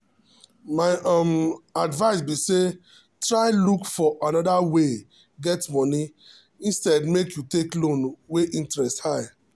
my um advice be say try look for another way get money instead make you take loan wey interest high.